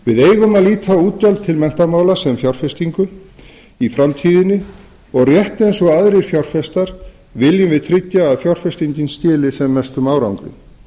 við eigum að líta á útgjöld til menntamála sem fjárfestingu í framtíðinni og rétt eins og aðrir fjárfestar viljum við tryggja að fjárfestingin skili sem mestum árangri